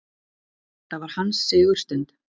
Þetta var hans sigurstund.